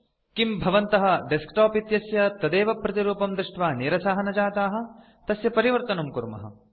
किम् भवन्तः डेस्कटॉप इत्यस्य तदेव प्रतिरूपं दृष्ट्वा निरसाः न जाताः तस्य परिवर्तनं कुर्मः